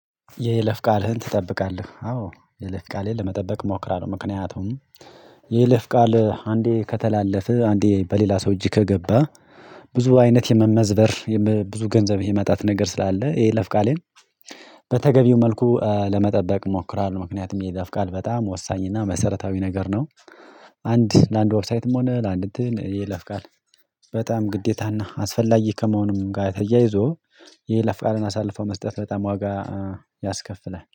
የይለፍ ቃልህን ትጠብቃለህ? አዎ የይለፍ ቃሌን ለመጠበቅ እሞክራለሁ። ምክንያቱም የይለፍ ቃል አንዴ ከተላለፈ አንዴ በሌላ ሰው እጅግ ከገባ። ብዙ አይነት የመመዝበር ብዙ ገንዘብ የማጣት ነገር ስላለ የይለፍ ቃሌን። በተገቢው መልኩ ለመጠበቅ እሞክራለሁ ምክንያቱም የይለፍ ቃል በጣም ወሳኝ እና መሰረታዊ ነገር ነው። አንድ ለአንድ ዌብሳይትም ሆነ ለአንድ እንትን የይለፍ ቃል በጣም ግዴታና አስፈላጊ ከመሆኑም ጋር ተያይዞ የየለፍ ቃልን አሳልፎ መስጠት በጣም ዋጋ ያስከፍላል